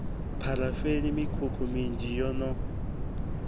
pharafeni mikhukhu minzhi yo no